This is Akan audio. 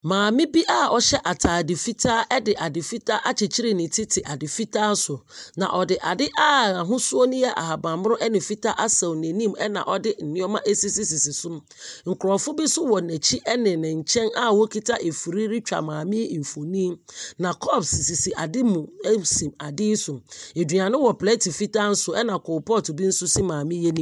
Maame bi a ɔhyɛ ataade fitaa de ade fitaa akyekyere ne ti te ade fitaa so. Na ɔde a n'ahosuo no yɛ fitaa asɛw n'anim na ɔde nneɛma asisisi so. Nkrɔfo bi wɔ ne n'akyi ne ne nkyɛn kura afiri a wɔretwa maame yi mfioni. Na kɔps sisi ade mu si ade so. Aduane wɔ plɛt fitaa so na coal pot bi nso si maame yi anim.